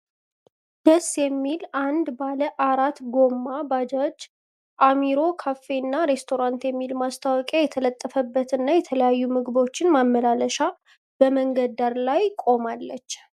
ደስ የሚል አንድ ባለ አራት ጉማ ባጃጅ አሚሮ ካፌና ሬስቶራንት የሚል ማስታወቂያ የተለጠፈባት እና የተለያዩ ምግቦችን ማመላለሻ በመንገድ ዳር ላይ ቆማለች።